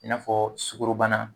I n'afɔ sugorobana